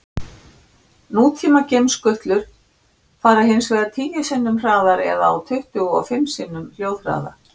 Nútíma geimskutlur fara hins vegar tíu sinnum hraðar eða á tuttugu og fimm sinnum hljóðhraða.